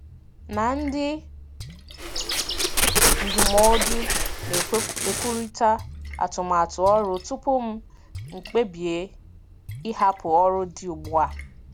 na ndị ndụmọdụ na-ekwurịta atụmatụ ọrụ tupu m kpebie ịhapụ ọrụ dị ugbu a.